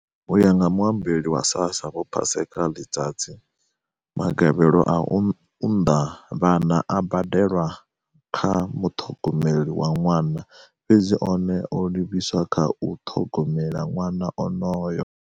U ya nga muambeli wa SASSA vho Paseka Letsatsi, magavhelo a u unḓa vhana a badelwa kha muṱhogomeli wa ṅwana, fhedzi one o livhiswa kha u ṱhogomela ṅwana onoyo.